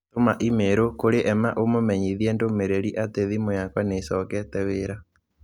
Tũma i-mīrū kũrĩ Emma ũmũmenyithie ndũmĩrĩri atĩ thimũ yakwa nĩ ĩcokete wira